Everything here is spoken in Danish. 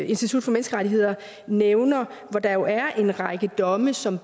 institut for menneskerettigheder nævner for der er jo en række domme som